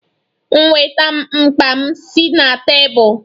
Nweta m mkpa m si na tebụl!